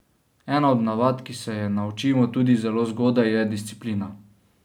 Ena od navad, ki se je naučimo tudi zelo zgodaj, je disciplina.